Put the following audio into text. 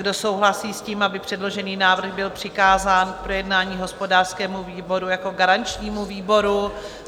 Kdo souhlasí s tím, aby předložený návrh byl přikázán k projednání hospodářskému výboru jako garančnímu výboru?